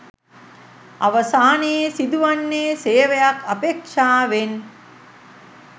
අවසානයේ සිදුවන්නේ සේවයක් අපේක්ෂාවෙන්